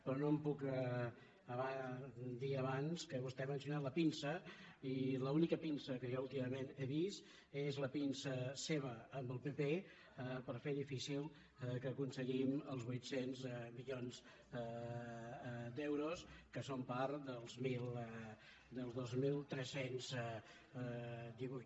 però no em puc estar de dir abans que vostè ha mencionat la pinça i l’única pinça que jo últimament he vist és la pinça seva amb el pp per fer difícil que aconseguim els vuit cents milions d’euros que són part dels dos mil tres cents i divuit